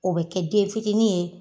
O bɛ kɛ den fitinin ye